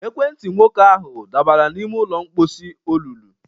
Ekwentị nwoke ahụ dabara n'ime ụlọ mposi olulu